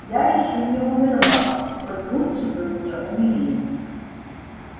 я ещё не умерла хоть лучше бы мне умереть